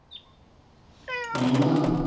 ਹਮਮ